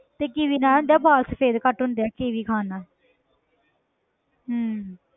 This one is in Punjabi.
ਤੇ ਕੀਵੀ ਨਾਲ ਤੇ ਆਹ ਵਾਲ ਸਫ਼ੇਦ ਘੱਟ ਹੁੰਦੇ ਆ ਕੀਵੀ ਖਾਣ ਨਾਲ ਹਮ